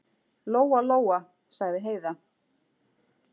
Lóa-Lóa, sagði Heiða.